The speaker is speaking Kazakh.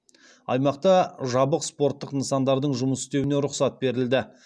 аймақта жабық спорттық нысандардың жұмыс істеуіне рұқсат берілді